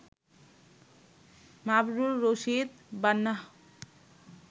Mabrur Rashid Bannah